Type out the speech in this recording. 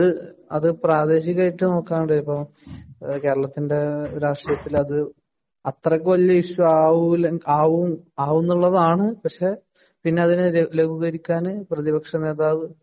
അത് പ്രാദേശികായിട്ടു നോക്കുവാണെ ഇപ്പൊ കേരളത്തിന്‍റെ രാഷ്ടീയത്തില്‍ അത് അത്രയ്ക്ക് വലിയ ഇഷ്യൂ ആവൂല ആവും ആവുമെന്നുള്ളതാണ്. പക്ഷെ അതിനെ ലഘൂകരിക്കാന് പ്രതിപക്ഷനേതാവ്